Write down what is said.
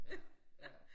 Ja ja